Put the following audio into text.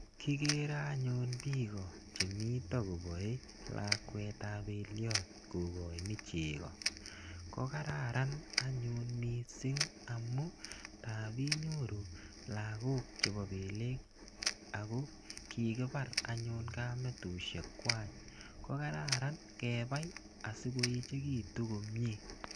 Kikere anyun piko che mita kopae lakwet ap peliat ko kachin cheko. Ko kararan missing' amu tap inyorun lagok chepo peleek ako kikipar anyun kametushekwak. Ko kararan kepai si koechekitu komye.